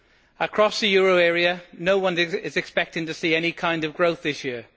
Across the euro area, no one is expecting to see any kind of growth this year.